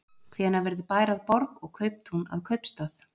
Hvenær verður bær að borg og kauptún að kaupstað?